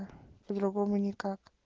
по-другому никак